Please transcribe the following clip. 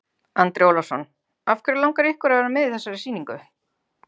Andri Ólafsson: Af hverju langar ykkur að vera með í þessari sýningu?